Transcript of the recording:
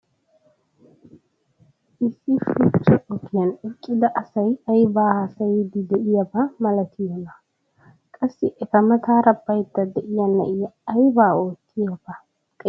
issi shuchcha ogiyan eqqida asay aybaa haasayiidi diyaaba malattiyoonaa? qassi eta mataara baydda diya na'iya ayibaa oottiyaaba xeeliyoode malatiyoonaa inttessi?